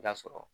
I bi t'a sɔrɔ